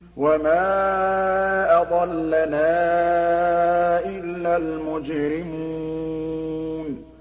وَمَا أَضَلَّنَا إِلَّا الْمُجْرِمُونَ